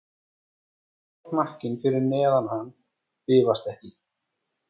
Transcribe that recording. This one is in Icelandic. En grár hnakkinn fyrir neðan hann bifast ekki.